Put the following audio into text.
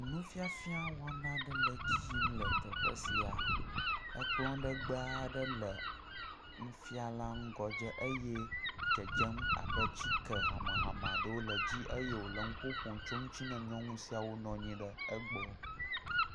Nu fiafia wɔna aɖe nɔ edzi yim le teƒe ya. Ekplɔ legbe aɖe le nufiala ƒe ŋgɔ dze eye wò dzedzem abe atike hamehame aɖewo le edzi eye wole nuƒo ƒom tso eŋuti ne nyɔnu siawo le egbɔ.